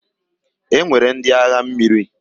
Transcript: E nwere ndị agha mmiri.